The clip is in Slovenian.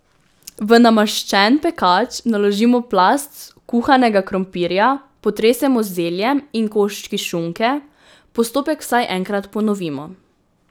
V namaščen pekač naložimo plast kuhanega krompirja, potresemo z zeljem in koščki šunke, postopek vsaj enkrat ponovimo.